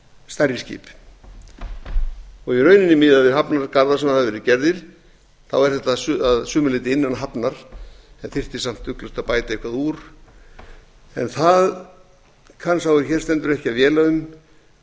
stærri skip í rauninni miðað við hafnir og garða sem hafa verið gerð er þetta að sumu leyti innan hafnar en þyrfti samt ugglaust að bæta eitthvað úr en það kann sá er hér stendur ekki að véla um